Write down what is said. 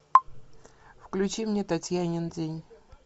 включи мне татьянин день